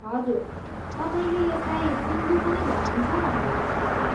हजुर, तपाईँले यसलाई सिन्धु पनि भनिन्छ भन्नुभएको थियो।